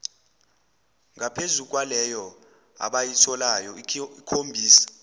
ngaphezukwaleyo abayitholayo ikhombisa